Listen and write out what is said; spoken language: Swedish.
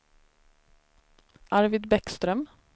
Arvid Bäckström